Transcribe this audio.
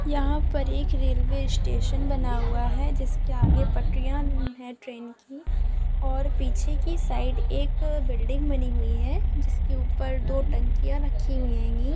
यहां पर एक रेलवे स्टेशन बना हुआ है जिसके आगे पटरिया है ट्रेन है की और पीछे की साइड एक बिल्डिंग बनी हुई जिसके ऊपर दो टंकिया रखी मिलेगी